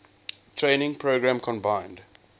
training program combined